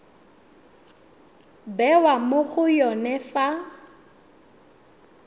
bewa mo go yone fa